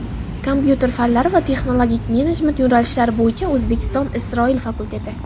kompyuter fanlari va texnologik menejment yo‘nalishlari bo‘yicha O‘zbekiston – Isroil fakulteti;.